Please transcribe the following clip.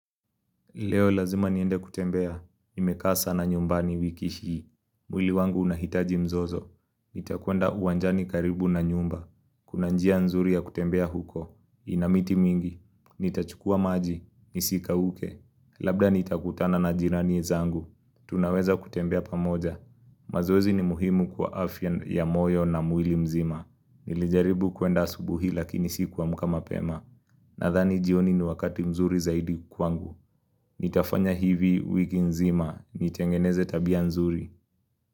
Leo lazima niende kutembea, nimekaa sana nyumbani wiki hii, mwili wangu unahitaji mzozo, nitakwenda uwanjani karibu na nyumba, kuna njia nzuri ya kutembea huko, ina miti mingi, nitachukua maji, nisikauke, labda nitakutana na jirani zangu, tunaweza kutembea pamoja, mazoezi ni muhimu kwa afya ya moyo na mwili mzima. Nilijaribu kuenda asubuhi lakini sikuamka mapema Nadhani jioni ni wakati mzuri zaidi kwangu Nitafanya hivi wiki nzima, nitengeneze tabia mzuri.